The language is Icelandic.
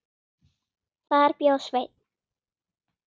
Þar bjó Sveinn